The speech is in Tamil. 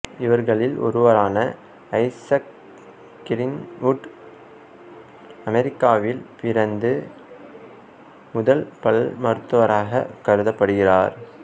இவர்களில் ஒருவரான ஐசக் கிரீன்வுட் அமெரிக்காவில் பிறந்த முதல் பல்மருத்துவராகக் கருதப்படுகிறார்